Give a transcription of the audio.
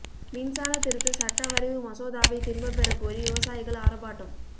மின்சாரத் திருத்த சட்ட வரைவு மசோதாவை திரும்பப் பெறக் கோரி விவசாயிகள் ஆா்ப்பாட்டம்